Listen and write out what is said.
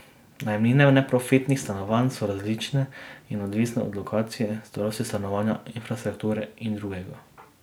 Najemnine neprofitnih stanovanj so različne in odvisne od lokacije, starosti stanovanja, infrastrukture in drugega.